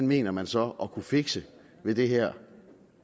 mener man så at kunne fikse med det her